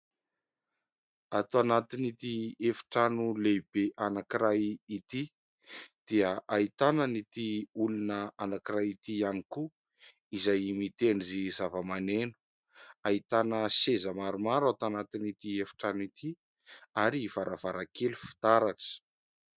Ato anatin'ity efitrano lehibe anankiray ity dia ahitana an'ity olona anankiray ity ihany koa, izay mitendry zava-maneno. Ahitana seza maromaro atao anatin'ity efitrano ity ary varavarankely fitaratra.